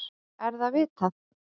Er það vitað?